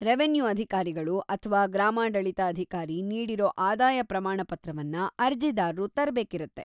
Revenue ಅಧಿಕಾರಿಗಳು ಅಥ್ವಾ ಗ್ರಾಮಾಡಳಿತ ಅಧಿಕಾರಿ ನೀಡಿರೋ ಆದಾಯ ಪ್ರಮಾಣ ಪತ್ರವನ್ನ ಅರ್ಜಿದಾರ್ರು ತರ್ಬೇಕಿರತ್ತೆ.